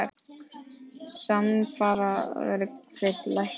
Samfara hefur verð þeirra lækkað.